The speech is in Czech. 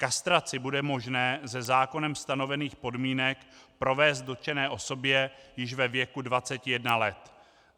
Kastraci bude možné ze zákonem stanovených podmínek provést dotčené osobě již ve věku 21 let.